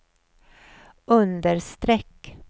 understreck